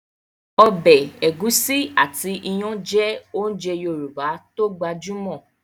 Ọbẹ̀ ẹ̀gúsí àti iyán jẹ́ ounjẹ Yorùbá tó gbajúmọ̀